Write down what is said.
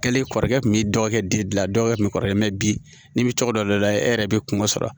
Kɛlen kɔrɔkɛ tun bɛ dɔ kɛ dila dɔw tun bɛ kɔrɔlen mɛ bi n'i bɛ tɔgɔ dɔ de da e yɛrɛ bɛ kungo sɔrɔ